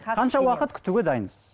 қанша уақыт күтуге дайынсыз